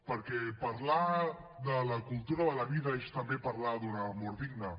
perquè parlar de la cultura de la vida és també parlar d’una mort digna